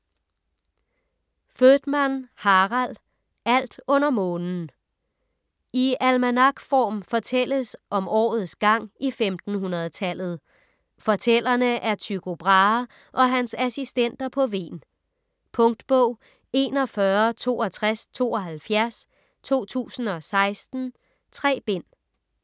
Voetmann, Harald: Alt under månen I almanakform fortælles om årets gang i 1500-tallet. Fortællerne er Tycho Brahe og hans assistenter på Hven. Punktbog 416272 2016. 3 bind.